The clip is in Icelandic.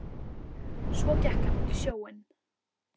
Svo gekk hann út í sjóinn.